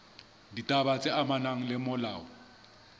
ditaba tse amanang le molao